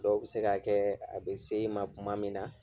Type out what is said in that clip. Dɔw bɛ se ka kɛ a bɛ se i ma tuma min na.